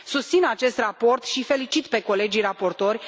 Susțin acest raport și îi felicit pe colegii raportori.